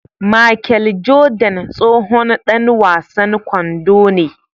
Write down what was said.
Machel Jordan tsohon Dan wasan kwando ne